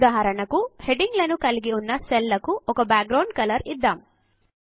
ఉదాహరణకు హెడింగ్ లను కలిగి ఉన్న సెల్ లకు ఒక బాక్ గ్రౌండ్ కలర్ ఇద్దాము